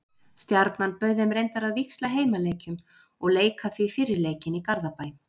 Stjarnan bauð þeim reyndar að víxla heimaleikjum og leika því fyrri leikinn í Garðabæ.